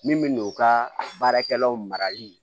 Min bɛ n'o ka baarakɛlaw marali